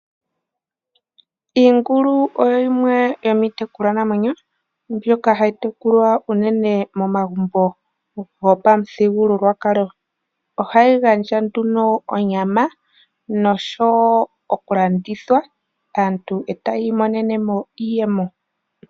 Iingulu oyo yimwe yoomiitekulwanamwenyo mbyoka hayi tekulwa unene momagumbo gwopamuthigulwakalo, ohayi gandja nduno onyama noshowo oku landithwa, aantu taya imonene mo iiyemo.